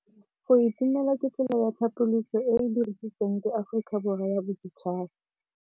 Go itumela ke tsela ya tlhapolisô e e dirisitsweng ke Aforika Borwa ya Bosetšhaba.